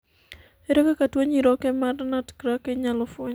ere kaka tuo nyiroke mar nutcracker inyalo fweny